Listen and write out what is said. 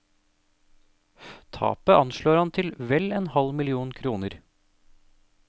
Tapet anslår han til vel en halv million kroner.